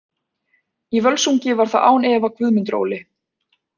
Í Völsungi var það án efa Guðmundur Óli.